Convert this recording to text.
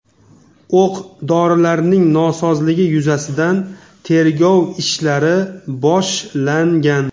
O‘q-dorilarning nosozligi yuzasidan tergov ishlari boshlangan.